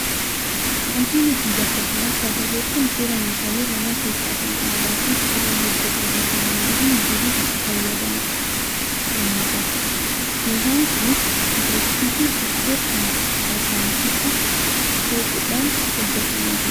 Wanti nuti bakka kanatti agarru kun suuraa meeshaalee mana keessaa kan aadaa fi mukarraa hojjatame kan namoonni durii itti fayyadamaa turanidha. Meeshaan kunis budduuqsituu ittoo kan harkaan muka soquudhaan hojjatamanidha.